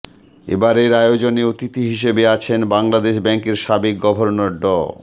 এবারের আয়োজনে অতিথি হিসেবে আছেন বাংলাদেশ ব্যাংকের সাবেক গভর্নর ড